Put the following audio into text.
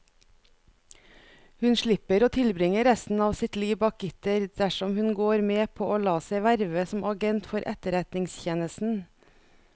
Hun slipper å tilbringe resten av sitt liv bak gitter dersom hun går med på å la seg verve som agent for etterretningstjenesten.